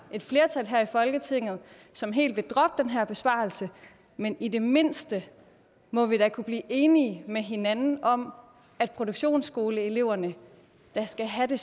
et flertal her i folketinget som helt vil droppe den her besparelse men i det mindste må vi da kunne blive enige med hinanden om at produktionsskoleeleverne da skal have det